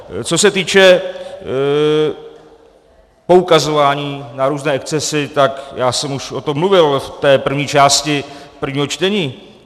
Co se týče poukazování na různé excesy, tak já jsem o tom už mluvil v té první části prvního čtení.